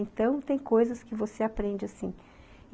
Então, tem coisas que você aprende assim.